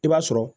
I b'a sɔrɔ